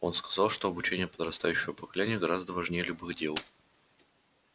он сказал что обучение подрастающего поколения гораздо важнее любых дел